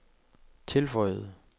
tilføjede